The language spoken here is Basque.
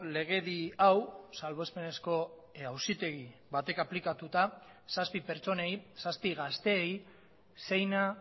legedi hau salbuespenezko auzitegi batek aplikatuta zazpi pertsonei zazpi gazteei seina